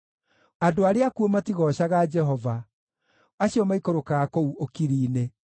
Andũ arĩa akuũ matigoocaga Jehova, acio maikũrũkaga kũu ũkiri-inĩ;